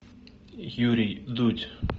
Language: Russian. юрий дудь